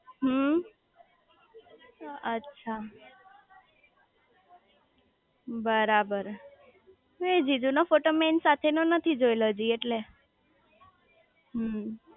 હમ્મ અચ્છા બરાબર મેં જીજુ નો ફોટો મેં એની સાથે નો નથી જોયેલો હજી એટલે